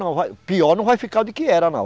Não vai, pior não vai ficar do que era, não.